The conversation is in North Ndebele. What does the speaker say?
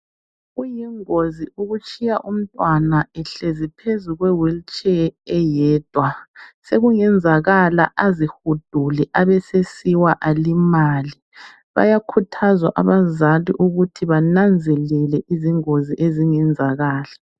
Kuyingozi ukutshiya umntwana ehlezi phezulu kwe (wheel chair)eyedwa sekungenzakala azihudule abesesiwa alimale, bayakhuthazwa abezantu ukuthi bananzelele izingozi ezingenzakala.